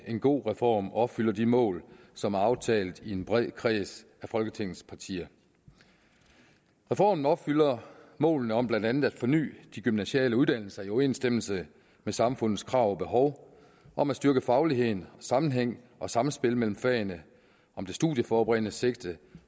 en god reform og opfylder de mål som er aftalt i en bred kreds af folketingets partier reformen opfylder målene om blandt andet at forny de gymnasiale uddannelser i overensstemmelse med samfundets krav og behov om at styrke fagligheden og sammenhængen og sammenspillet mellem fagene om det studieforberedende sigte